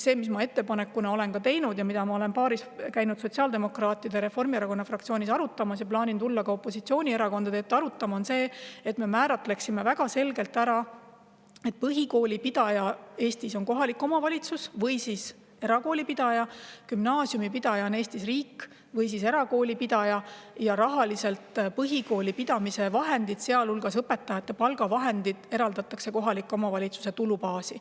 Ettepanek, mille ma olen teinud ja mida olen käinud sotsiaaldemokraatide ja Reformierakonna fraktsioonis arutamas ja plaanin tulla ka opositsioonierakondade ette arutama, on see, et me määratleksime väga selgelt ära, et põhikooli pidaja on Eestis kohalik omavalitsus või erakooli pidaja ning gümnaasiumi pidaja on riik või erakooli pidaja, ja põhikooli pidamise vahendid, sealhulgas õpetajate palgavahendid, eraldatakse kohalike omavalitsuste tulubaasi.